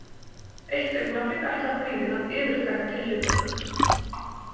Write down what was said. Eitt augnablik ætlar kvíðinn að yfirtaka tilhlökkunina.